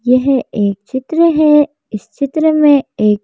यह एक चित्र है इस चित्र में एक--